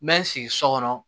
N bɛ n sigi so kɔnɔ